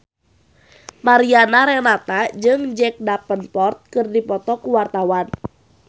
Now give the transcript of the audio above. Mariana Renata jeung Jack Davenport keur dipoto ku wartawan